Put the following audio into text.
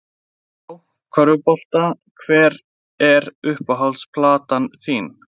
Já, körfubolta Hver er uppáhalds platan þín?